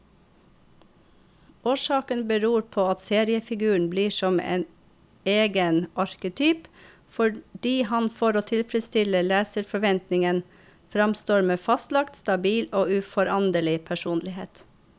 Årsaken beror på at seriefiguren blir som egen arketyp, fordi han for å tilfredstille leserforventningen framstår med fastlagt, stabil og uforanderlig personlighet.